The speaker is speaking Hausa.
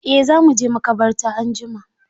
Eh za mu je maƙabarta anjima.